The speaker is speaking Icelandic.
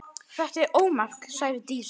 Þetta var ómark, sagði Dísa.